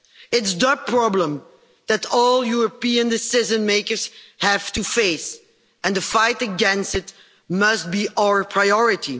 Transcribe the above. it is the' problem that all European decision makers have to face, and the fight against it must be our priority.